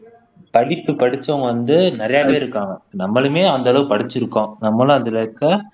படிப்பு படிச்சவங்க வந்து நிறைய பேர் இருக்காங்க நம்மளுமே அந்த அளவுக்கு படிச்சிருக்கோம் நம்மளும் அதுல இருக்க